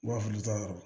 U b'a fɔ olu ta yɔrɔ